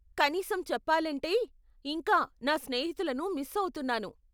కనీసం చెప్పాలంటే, ఇంకా, నా స్నేహితులను మిస్ అవుతున్నాను.